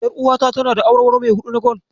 Ƴaruwata tana da awarwaro mai huɗu na gwal.